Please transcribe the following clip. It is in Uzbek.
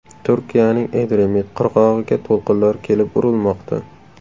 Turkiyaning Edremit qirg‘og‘iga to‘lqinlar kelib urilmoqda.